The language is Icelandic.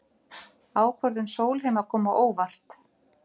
Ákvörðun Sólheima kom á óvart